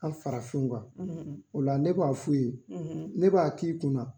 An farafnw kan, , o la ne b'a f'u ye, , ne b'a k'i kunna